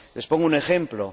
Les pongo un ejemplo.